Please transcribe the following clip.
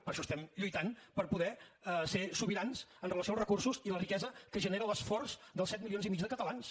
per això estem lluitant per poder ser sobirans amb relació als recursos i la riquesa que genera l’esforç dels set milions i mig de catalans